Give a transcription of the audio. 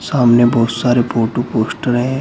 सामने बहोत सारे फोटो पोस्टर है।